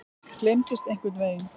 Gleymdist einhvern veginn.